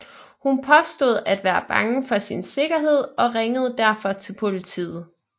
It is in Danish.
Hun påstod at være bange for sin sikkerhed og ringede derfor til politet